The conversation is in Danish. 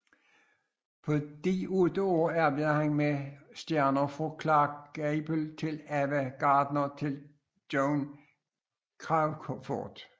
På disse otte år arbejdede han med stjerner fra Clark Gable til Ava Gardner til Joan Crawford